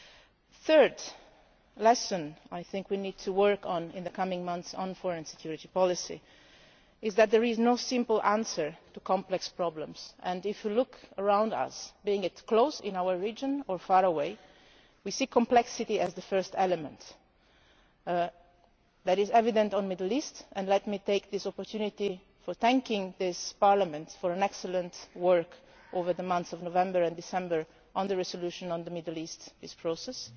ourselves. The third lesson I think we need to work on in the coming months on foreign and security policy is that there is no simple answer to complex problems. If we look around us, whether close by or far away, we see complexity as the first element. That is evident in the Middle East, and let me take this opportunity to thank this Parliament for its excellent work over the months of November and December on the resolution on the Middle East